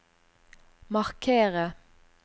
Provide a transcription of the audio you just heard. markere